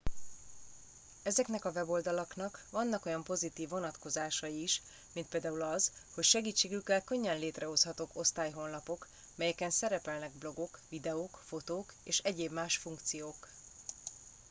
ezeknek a weboldalaknak vannak olyan pozitív vonatkozásai is mint például az hogy segítségükkel könnyen létrehozhatók osztályhonlapok melyeken szerepelnek blogok videók fotók és egyéb más funkciók